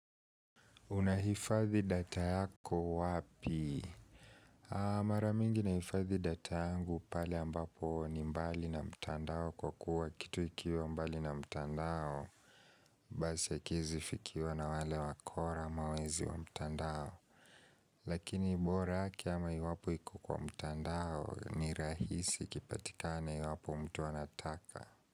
Unahifadhi data yako wapi? Maramingi naifadhi data yangu pale ambapo ni mbali na mtandao kwa kuwa kitu ikiwa mbali na mtandao Basi hakiezi fikiwa na wale wakora ama wezi wa mtandao Lakini bora aki ama iwapo iko kwa mtandao ni rahisi kipatikane iwapo mtu anataka.